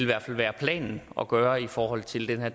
hvert fald være planen at gøre i forhold til den her